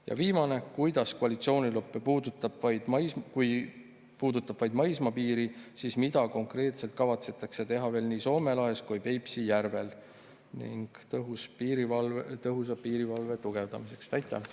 Ja viimane, kui koalitsioonilepe puudutab vaid maismaapiiri, siis mida konkreetselt kavatsetakse teha veel nii Soome lahes kui Peipsi järvel tõhusa piirivalve tugevdamiseks?